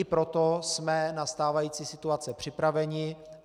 I proto jsme na stávající situaci připraveni.